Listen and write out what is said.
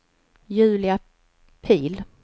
Julia Pihl